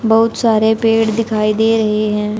बहुत सारे पेड़ दिखाई दे रहे हैं।